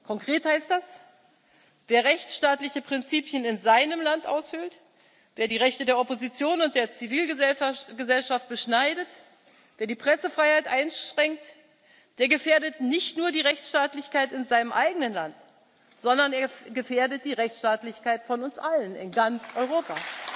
Konkret heißt das Wer rechtsstaatliche Prinzipien in seinem Land aushöhlt, wer die Rechte der Opposition und der Zivilgesellschaft beschneidet, wer die Pressefreiheit einschränkt, der gefährdet nicht nur die Rechtsstaatlichkeit in seinem eigenen Land, sondern er gefährdet die Rechtsstaatlichkeit von uns allen in ganz Europa.